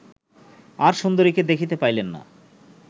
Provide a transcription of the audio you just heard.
আর সুন্দরীকে দেখিতে পাইলেন না